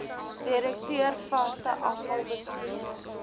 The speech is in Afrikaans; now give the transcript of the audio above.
direkteur vaste afvalbestuur